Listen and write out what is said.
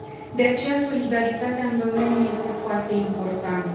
De aceea, solidaritatea în domeniu este foarte importantă.